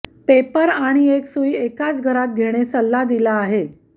paper आणि एक सुई एकाच घरात घेणे सल्ला दिला आहे